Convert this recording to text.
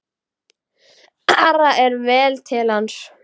Ara er vel til hans.